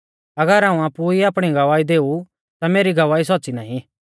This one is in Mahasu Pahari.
अगर हाऊं आपु ई आपणी गवाही देऊ ता मेरी गवाही सौच़्च़ी नाईं